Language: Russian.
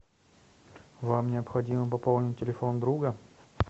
вам необходимо пополнить телефон друга